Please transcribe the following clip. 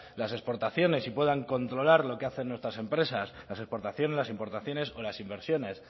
las exportaciones y puedan controlar lo que hacen nuestras empresas las exportaciones las importaciones o las inversiones